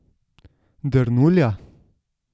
Drnulja?